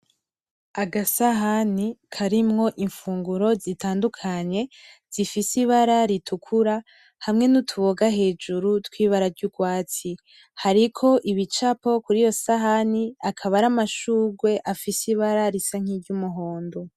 Agasahan karimwo infunguro zitanduka nye zifise ibara ritukura hamwe nutuboga hejuru twibara ryurwatsi, hariko ibicapo kuriyo sahani, akaba aramashurwe afise ibara risa nkiryumuhondo.